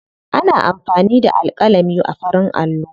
Ana amfani da alƙalami a farin allo.